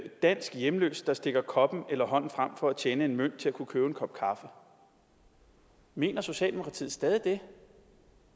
dansk hjemløs der stikker koppen eller hånden frem for at tjene en mønt til at kunne købe en kop kaffe mener socialdemokratiet stadig det